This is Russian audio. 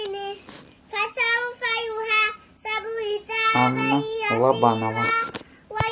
анна лобанова